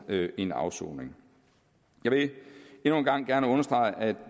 en afsoning jeg vil endnu en gang gerne understrege at